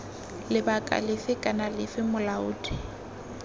lebaka lefe kana lefe molaodi